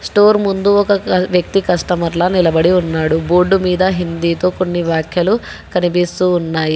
Store ముందు ఒక వ్యక్తి కష్టమర్ల నిలబడి ఉన్నాడు బోర్డు మీద హిందీతో కొన్ని వ్యాఖ్యలు కనిపిస్తూ ఉన్నాయి.